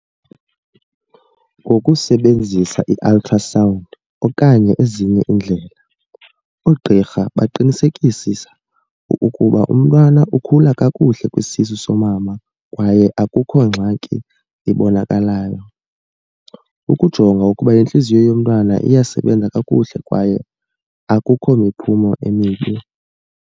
Ngokusebenzisa i-ultra sound okanye ezinye iindlela, oogqirha baqinisekisisa ukkuuba umntwana ukhula kakuhle kwisisu somama kwaye akukho ngxaki ibonakalayo. Ukujonga ukuba intliziyo yomntwana iyasebenza kakuhle kwaye akukho miphumo emibi.